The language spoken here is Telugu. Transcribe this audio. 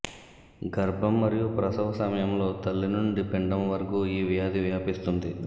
గర్భం మరియు ప్రసవ సమయంలో తల్లి నుండి పిండం వరకు ఈ వ్యాధి వ్యాపిస్తుంది